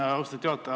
Austatud juhataja!